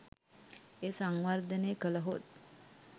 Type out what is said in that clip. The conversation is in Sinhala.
එය සංවර්ධනය කළහොත්